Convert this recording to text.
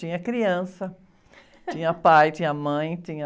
Tinha criança, tinha pai, tinha mãe, tinha...